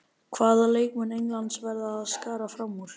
Hvaða leikmann Englands verða að skara fram úr?